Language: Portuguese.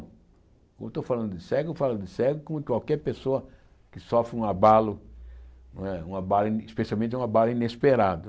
Quando eu estou falando de cego, eu falo de cego como qualquer pessoa que sofre um abalo não é, um abalo especialmente um abalo inesperado.